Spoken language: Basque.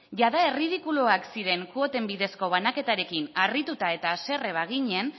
jada erridikuloak ziren kuoten bidezko banaketarekin harrituta eta haserre baginen